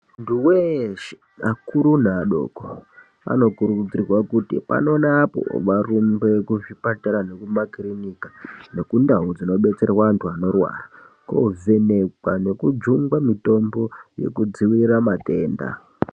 Muntu weshe akuru neadoko anokurudzirwa kuti pano neapo varumbe kuzvipatara nekumakiriniki nendau dzinobetserwa vantu vanorwara kunovhenekwa nekujungwa mutombo yekudzivirira matenga .